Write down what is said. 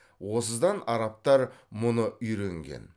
осыдан арабтар мұны үйренген